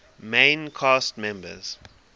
main cast members